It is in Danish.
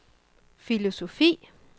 filosofi